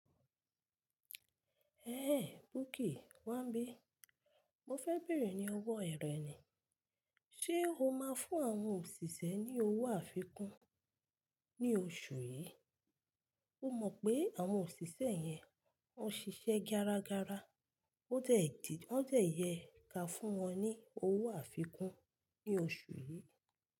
Ẹ eh! Bukky, Wambí, mo fẹ́ bèrè ní ọwọ́ e rẹ ni, ṣe o máa fún àwọn òṣìṣẹ́ ní owó àfikún ní oṣù yìí? O mọ̀ pé àwọn òṣìṣẹ́ yẹn, wọ́n ń ṣiṣẹ́ garagara, ó dẹ̀ yẹ ká fún wọn ní owó àfikún ní oṣù yìí.